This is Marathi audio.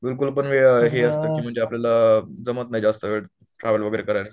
बिलकुल पण वेळ हे असतं म्हणजे आपल्याला जमत नाही जास्त वेळ ट्रॅव्हल वगैरे करायचं